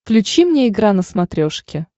включи мне игра на смотрешке